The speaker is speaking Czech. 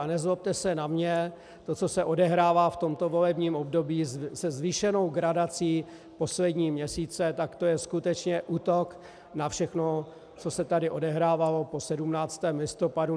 A nezlobte se na mě, to, co se odehrává v tomto volebním období se zvýšenou gradací poslední měsíce, tak to je skutečně útok na všechno, co se tady odehrávalo po 17. listopadu.